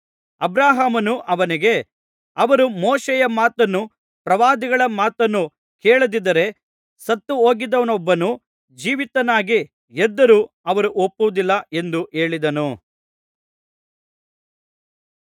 ಅಬ್ರಹಾಮನು ಅವನಿಗೆ ಅವರು ಮೋಶೆಯ ಮಾತನ್ನೂ ಪ್ರವಾದಿಗಳ ಮಾತನ್ನೂ ಕೇಳದಿದ್ದರೆ ಸತ್ತುಹೋಗಿದ್ದವನೊಬ್ಬನು ಜೀವಿತನಾಗಿ ಎದ್ದರೂ ಅವರು ಒಪ್ಪುವುದಿಲ್ಲ ಎಂದು ಹೇಳಿದನು